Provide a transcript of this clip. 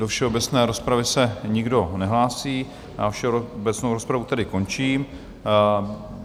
Do všeobecné rozpravy se nikdo nehlásí a všeobecnou rozpravu tedy končím.